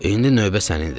İndi növbə sənindir.